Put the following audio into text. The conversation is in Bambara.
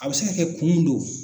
A bɛ se ka kɛ kun do